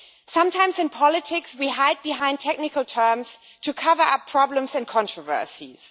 Sometimes in politics we hide behind technical terms to cover up problems and controversies.